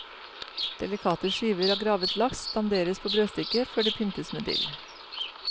Delikate skiver av gravet laks danderes på brødstykket før det pyntes med dill.